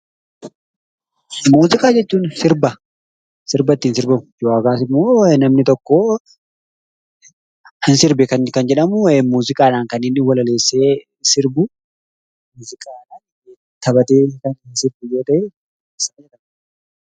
Muuziqaa jechuun sirba. Kan sirbi ittiin sirbamu yookaas immoo namni tokko ni sirbe kan inni jedhamu muuziqaadhaan walaleessee sirbu, muuziqaadhaan taphatee kan inni sirbu yoo ta'e muuziqaa jenna.